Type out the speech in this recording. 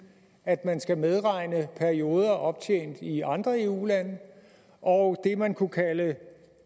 at man skal medregne perioder optjent i andre eu lande og det man kunne kalde